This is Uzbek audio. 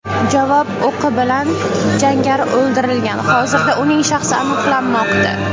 Javob o‘qi bilan jangari o‘ldirilgan, hozirda uning shaxsi aniqlanmoqda.